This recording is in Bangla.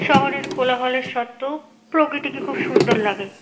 শহরের কোলাহলের সত্ত্বেও প্রকৃতিকে খুব সুন্দর লাগে।